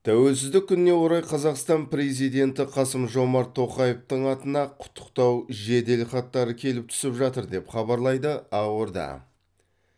тәуелсіздік күніне орай қазақстан президенті қасым жомарт тоқаевтың атына құттықтау жеделхаттары келіп түсіп жатыр деп хабарлайды ақорда